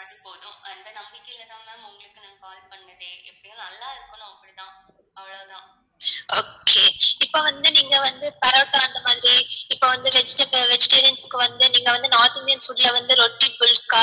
okay இப்போ வந்து நீங்க வந்து அந்த மாதிரியே இப்போ வந்து vegetarians க்கு வந்து நீங்க வந்து north indian foods ல வந்து ரொட்டி pulka